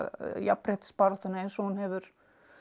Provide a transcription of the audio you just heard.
jafnréttisbaráttunni eins og hún hefur